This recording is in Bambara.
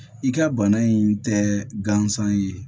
I ka bana in tɛ gansan ye